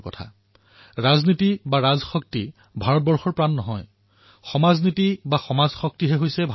কেতিয়াবা কেতিয়াবা ৰাজনৈতিক ঘটনাসমূহ আৰু ৰাজনৈতিক লোক ইমানেই প্ৰভাৱশালী হৈ পৰে যে সমাজৰ অন্য প্ৰতিভা তথা অন্য পুৰুষাৰ্থ তল পৰি যায়